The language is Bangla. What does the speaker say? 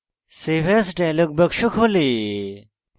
save as dialog box খোলে